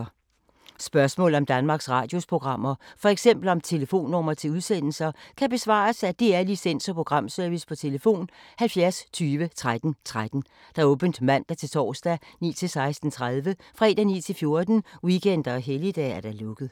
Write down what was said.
Spørgsmål om Danmarks Radios programmer, f.eks. om telefonnumre til udsendelser, kan besvares af DR Licens- og Programservice: tlf. 70 20 13 13, åbent mandag-torsdag 9.00-16.30, fredag 9.00-14.00, weekender og helligdage: lukket.